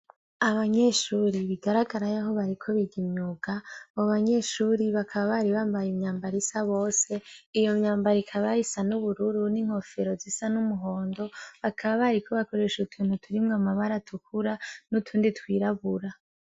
Abanyeshure bigaragara yaho bariko biga imyuga abo banyeshuri bakaba bari bambaye imyambaro isa bose iyo myambaro ikaba isa n' ubururu n' inkofero zisa n' umuhondo bakaba bariko bakoresha utuntu turimwo amabara atukura n' utundi twirabura.